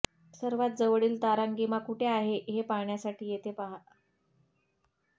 सर्वात जवळील तारांगिमा कुठे आहे हे पाहण्यासाठी येथे पहा